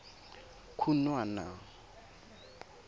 khunwana